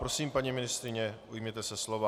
Prosím, paní ministryně, ujměte se slova.